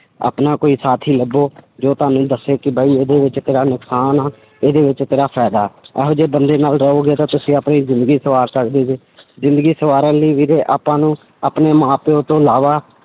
ਆਪਣਾ ਕੋਈ ਸਾਥੀ ਲੱਭੋ ਜੋ ਤੁਹਾਨੂੰ ਦੱਸੇ ਕਿ ਬਾਈ ਇਹਦੇ ਵਿੱਚ ਤੇਰਾ ਨੁਕਸਾਨ ਆਂ, ਇਹਦੇ ਵਿੱਚ ਤੇਰਾ ਫ਼ਾਇਦਾ ਹੈ, ਇਹੋ ਜਿਹੇ ਬੰਦੇ ਨਾਲ ਰਹੋਗੇ ਤਾਂ ਤੁਸੀਂ ਆਪਣੀ ਜ਼ਿੰਦਗੀ ਸਵਾਰ ਸਕਦੇ ਜ਼ਿੰਦਗੀ ਸਵਾਰਨ ਲਈ ਵੀਰੇ ਆਪਾਂ ਨੂੰ ਆਪਣੇ ਮਾਂ ਪਿਓ ਤੋਂ ਇਲਾਵਾ